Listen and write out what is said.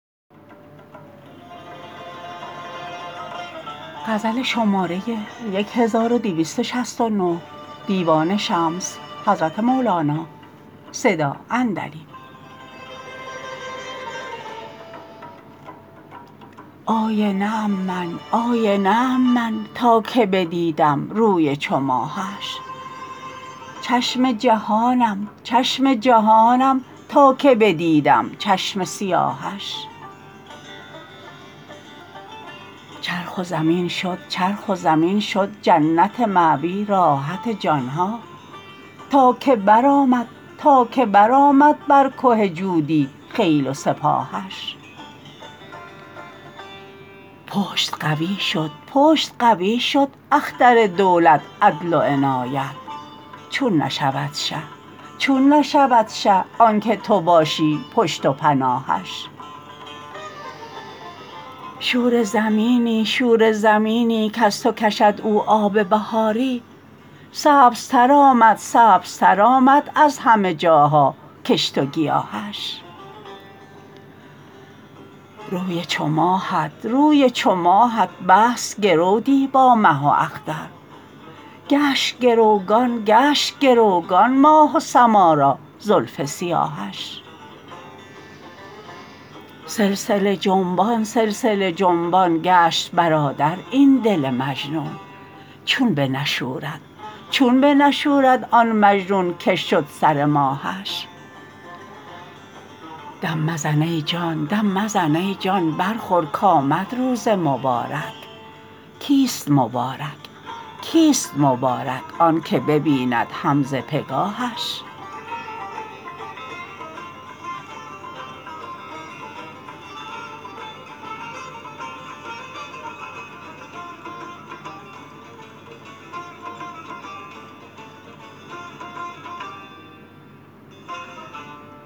آینه ام من آینه ام من تا که بدیدم روی چو ماهش چشم جهانم چشم جهانم تا که بدیدم چشم سیاهش چرخ زمین شد چرخ زمین شد جنت مأوی راحت جان ها تا که برآمد تا که برآمد بر که جودی خیل و سپاهش پشت قوی شد پشت قوی شد اختر دولت عدل و عنایت چون نشود شه چون نشود شه آنک تو باشی پشت و پناهش شوره زمینی شوره زمینی کز تو کشد او آب بهاری سبزتر آمد سبزتر آمد از همه جاها کشت و گیاهش روی چو ماهت روی چو ماهت بست گرو دی با مه و اختر گشت گروگان گشت گروگان ماه و سما را زلف سیاهش سلسله جنبان سلسله جنبان گشت برادر این دل مجنون چون بنشورد چون بنشورد آن مجنون کش شد سر ماهش دم مزن ای جان دم مزن ای جان برخور کآمد روز مبارک کیست مبارک کیست مبارک آن که ببیند هم ز پگاهش